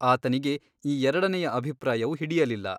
ಆತನಿಗೆ ಈ ಎರಡನೆಯ ಅಭಿಪ್ರಾಯವು ಹಿಡಯಲಿಲ್ಲ.